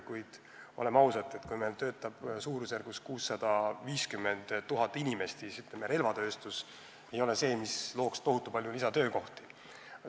Kuid oleme ausad, kui meil töötab praegu suurusjärgus 650 000 inimest, siis relvatööstus ei ole see, mis looks tohutu palju lisatöökohti.